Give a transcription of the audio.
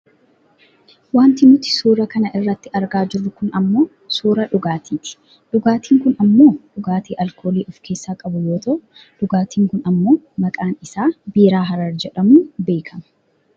Wanti nuti suuraa kana irratti argaa jirru kun ammoo suuraa dhugaatiiti. Dhugaatiin kun ammoo dhugaatii aalkoolii of keessaa qabu yoo ta'u dhugaatiin kun ammoo maqaan isaa biiraa harar jedhamuun beekkama.